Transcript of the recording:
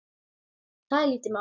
Það er lítið mál.